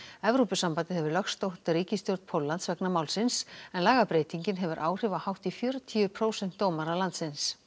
Evrópusambandið hefur lögsótt ríkisstjórn Póllands vegna málsins en lagabreytingin hefur áhrif á hátt í fjörutíu prósent dómara landsins